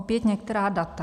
Opět některá data.